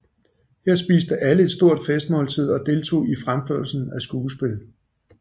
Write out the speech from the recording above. Her spiste alle et stort festmåltid og deltog i fremførelsen af skuespil